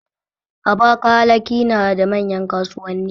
Abakalaki na da manyan kasuwanni.